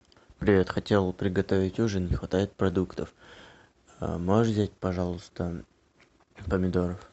привет хотел приготовить ужин не хватает продуктов можешь взять пожалуйста помидоров